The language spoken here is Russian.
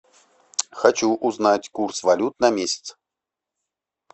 хочу узнать курс валют на месяц